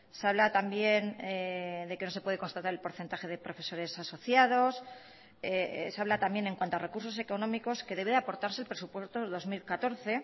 se habla también de que no se puede constatar el porcentaje de profesores asociados se habla también en cuanto a recursos económicos que debe aportarse el presupuesto dos mil catorce